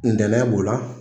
Ntɛnɛn b'o la.